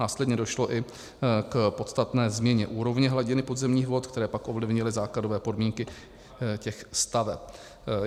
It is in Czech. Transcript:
Následně došlo i k podstatné změně úrovně hladiny podzemních vod, které pak ovlivnily základové podmínky těch staveb.